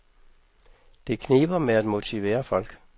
Det kniber med at motivere folk.